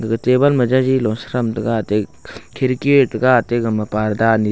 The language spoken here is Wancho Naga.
ga table ma jaji lo setram taiga ate khirki tega ate gama parda ani--